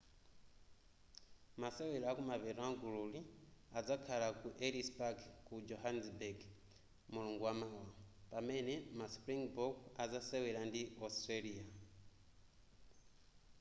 masewera akumapeto amgululi adzakhala ku ellis park ku johannesburg mulungu wamawa pamene ma springbok azasewera ndi australia